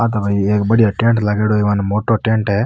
यहाँ पे भई एक बढ़िया टेंट लगेडो है एक मोटो टेंट है।